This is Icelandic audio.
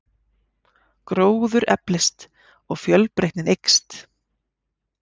Gróður eflist og fjölbreytnin eykst.